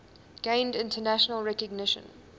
gained international recognition